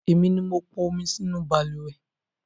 Èmi ni mo pọn omi sí inú balùwẹ́